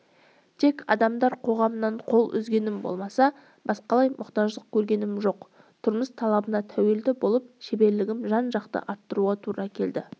тек адамдар қоғамынан қол үзгенім болмаса басқалай мұқтаждық көргенім жоқ тұрмыс талабына тәуелді болып шеберлігімді жан-жақты арттыруға тура келді